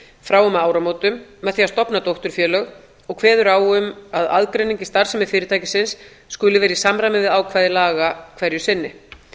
frá og með áramótum með því að stofna dótturfélög og kveður á um að aðgreining í starfsemi fyrirtækisins skuli vera í samræmi við ákvæði laga hverju sinni